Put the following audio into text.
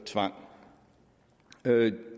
tvang